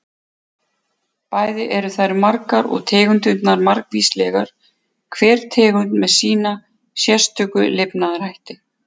Bæði eru þær margar og tegundirnar margvíslegar, hver tegund með sína sérstöku lifnaðarhætti.